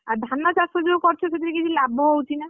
ଆଉ ଧାନ ଚାଷ ଯୋଉ କରୁଛ ସେଥିରେ କିଛି ଲାଭ ହଉଛି ନା?